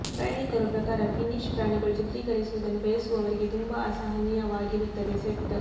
ಪ್ರಯಾಣಿಕರು ಪ್ರಕಾರ ಫಿನ್ನಿಶ್ ಪ್ರಾಣಿಗಳು ಚಿತ್ರೀಕರಿಸುವುದನ್ನು ಬಯಸುವವರಿಗೆ ತುಂಬಾ ಅಸಹನೀಯವಾಗಿರುತ್ತದೆ ಸೆಟ್